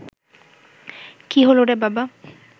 কী হলো রে বাবা